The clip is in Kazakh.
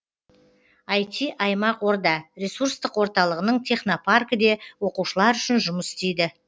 іт аймақ орда ресурстық орталығының технопаркі де оқушылар үшін жұмыс істейді